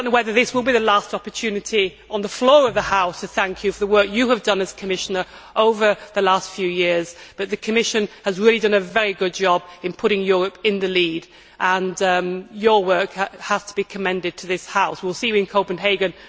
I do not know whether this will be the last opportunity on the floor of the House to thank you for the work you have done as Commissioner over the last few years, but the Commission has really done a very good job in putting Europe in the lead, and your work has to be commended to this House. We will see you in Copenhagen.